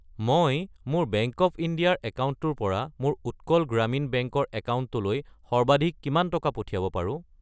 মই মোৰ bank of India ৰ একাউণ্টৰ পৰা মোৰ উৎকল গ্ৰামীণ বেংক ৰ একাউণ্টলৈ সৰ্বাধিক কিমান টকা পঠিয়াব পাৰো?